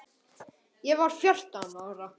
Ég var fjórtán ára.